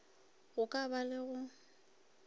go ka ba le go